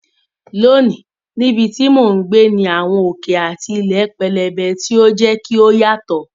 Lónìí, níbi tí mò ń gbé ní àwọn òkè àti ilẹ̀ pẹlẹbẹ, tí ó ń jẹ́ kí ó yàtọ̀.